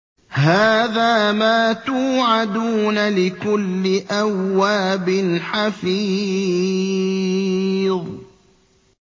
هَٰذَا مَا تُوعَدُونَ لِكُلِّ أَوَّابٍ حَفِيظٍ